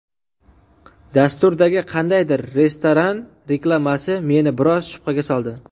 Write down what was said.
Dasturdagi qandaydir restoran reklamasi meni biroz shubhaga soldi.